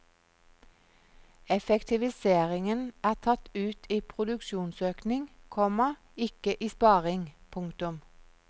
Effektiviseringen er tatt ut i produksjonsøkning, komma ikke i sparing. punktum